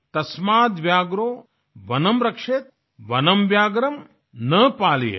तस्माद् व्याघ्रो वनं रक्षेत् वनं व्याघ्रं न पालयेत्